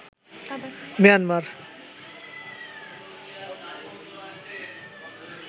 Myanmar